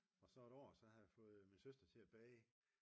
Og så et år der havde jeg fået min søster til at bage